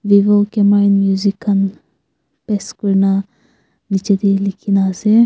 vivo camera and music khan paste kuri na nichey de likhi na ase.